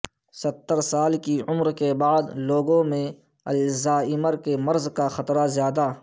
ستر سال کی عمر کے بعد لوگوں میں الزائمر کے مرض کا خطرہ زیادہ